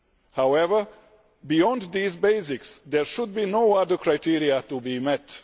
However, beyond these basics, there should not be any other criteria to be met.